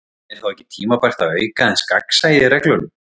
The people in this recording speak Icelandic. En er þá ekki tímabært að auka aðeins gagnsæið í reglunum?